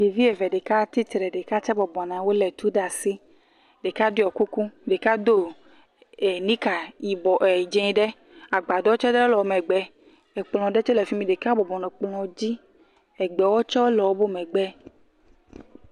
Ŋutsuvi eve, ɖeka tsitre, ɖeka tse bɔbɔ nɔ anyi, wole tu ɖe asi, ɖeka ɖɔe kuku, ɖeka do nika yibɔ, dzɛ ɖe, agbadɔ ɖe tse le wogbe, ɖeka tse le fimi, ekplɔ ɖe tse le efimi, ɖeka tse bɔbɔnɔ kplɔ dzi, egbewo tse le emegbe.